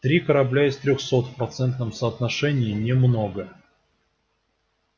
три корабля из трёхсот в процентном соотношении немного